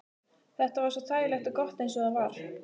Þetta var svo þægilegt og gott eins og það var.